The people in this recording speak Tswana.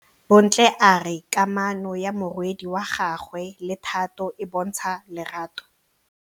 Bontle a re kamanô ya morwadi wa gagwe le Thato e bontsha lerato.